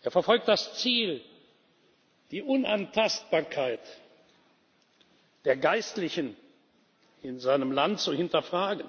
Er verfolgt das Ziel, die Unantastbarkeit der Geistlichen in seinem Land zu hinterfragen